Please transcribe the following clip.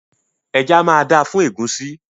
Ẹja máa dáa fún ẹ̀gúsí.